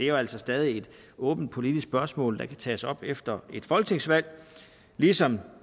jo altså stadig et åbent politisk spørgsmål der kan tages op efter et folketingsvalg ligesom